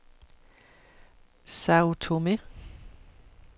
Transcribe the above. Sao Tomé